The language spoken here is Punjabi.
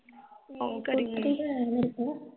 ਸਕੂਟਰੀ ਤਾਂ ਹੈ ਮੇਰੇ ਕੋਲ